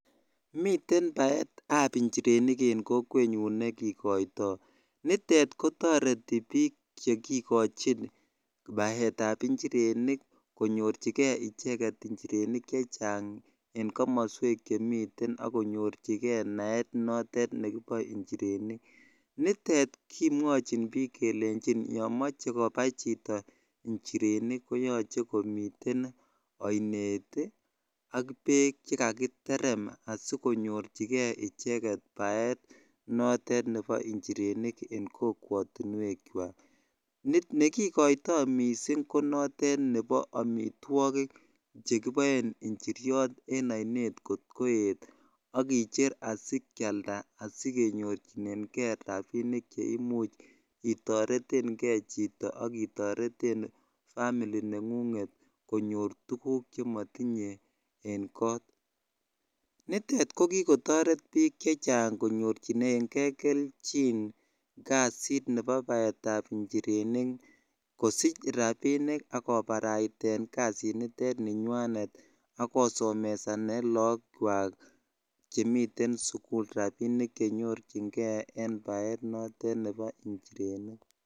Miteen paeet ap injirenik eng kokweenyuun nekikaitaaii ako ingeen piik konaii kanetisheet ap injirenik magat komiten peeek chebo paeet ap iniryot ako mitei amitwagik ap injirenik chekikaitati cheaee njireniik koechikituu eng chakchineeet ak kosup kee ak paeet ap inirenik